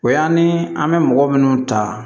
O y'an ni an bɛ mɔgɔ minnu ta